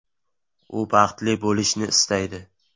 U baxtli bo‘lishni istaydi.